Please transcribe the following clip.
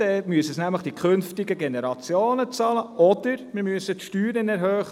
Dann muss dies von den künftigen Generationen bezahlt werden, oder wir müssen die Steuern erhöhen.